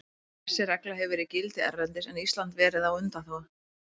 Þessi regla hefur verið í gildi erlendis en Ísland verið á undanþágu.